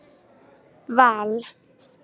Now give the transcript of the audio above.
Val